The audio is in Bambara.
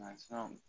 Mansinw